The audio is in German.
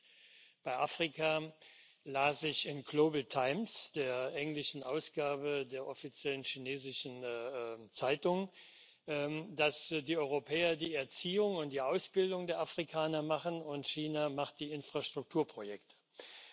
Und bei Afrika las ich in der Global Times der englischen Ausgabe der offiziellen chinesischen Zeitung, dass die Europäer die Erziehung und die Ausbildung der Afrikaner machen und China die Infrastrukturprojekte macht.